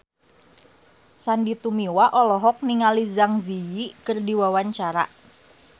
Sandy Tumiwa olohok ningali Zang Zi Yi keur diwawancara